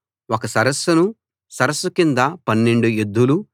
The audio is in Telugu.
ఒక సరస్సును సరస్సు కింద 12 ఎద్దులూ